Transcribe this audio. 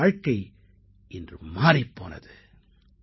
அவரது வாழ்க்கை இன்று மாறிப் போனது